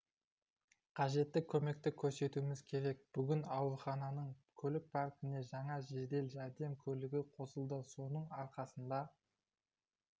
қажетті көмекті көрсетуіміз керек бүгін аурухананың көлік паркіне жаңа жедел жәрдем көлігі қосылды соның арқасында